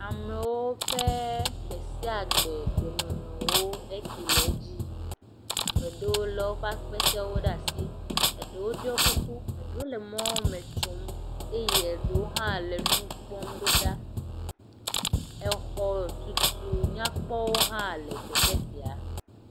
Amewo ƒe gbe sia gbe gbenɔnɔwo ke le edzi yim, ame aɖewo lé woƒe akpetewo ɖe asi ɖewo ɖɔ kuku eye ɖewo le mɔme tso eye ɖewo hã le nu kpɔm ɖo ɖa. Exɔ tutu nyakpɔwo hã le teƒe sia.